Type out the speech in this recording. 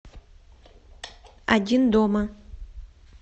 один дома